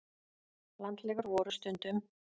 Landlegur voru stundum.